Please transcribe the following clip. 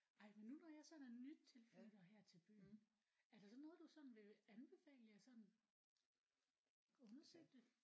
Ej men nu når jeg sådan er nytilflytter her til byen er der så noget du sådan vil anbefale jeg sådan undersøgte